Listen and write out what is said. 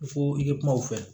Ko i ka kuma u fɛ